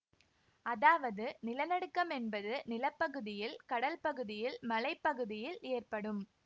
அதாவது நிலநடுக்கம் என்பது நில பகுதியில் கடல் பகுதியில் மலை பகுதியில் ஏற்படும்